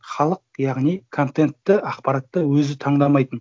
халық яғни контентті ақпаратты өзі таңдамайтын